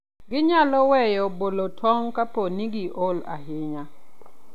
Ginyalo weyo bolo tong' kapo ni giol ahinya.